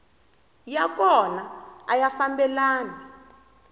ya kona a ya fambelani